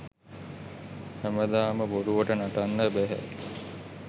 හැමදාම බොරුවට නටන්න බැහැ.